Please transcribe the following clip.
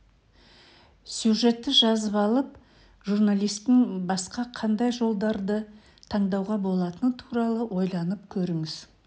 сюжетті жазып алып журналистің басқа қандай жолдарды таңдауға болатыны туралы ойланып көріңіз